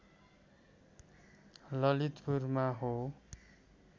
ललितपुरमा हो